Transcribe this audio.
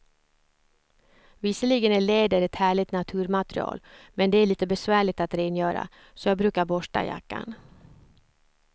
Visserligen är läder ett härligt naturmaterial, men det är lite besvärligt att rengöra, så jag brukar borsta jackan.